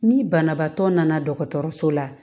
Ni banabaatɔ nana dɔgɔtɔrɔso la